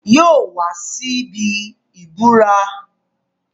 Yóò wá síbí ìburá.